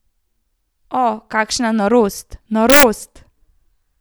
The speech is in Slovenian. O, kakšna norost, norost!